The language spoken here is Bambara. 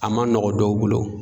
A ma nɔgɔn dɔw bolo